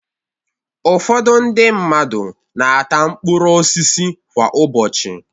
Ụfọdụ ndị mmadu na-ata mkpụrụ osisi kwa ụbọchị.